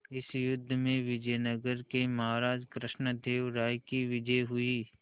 इस युद्ध में विजय नगर के महाराज कृष्णदेव राय की विजय हुई